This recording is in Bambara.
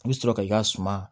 I bɛ sɔrɔ ka i ka suma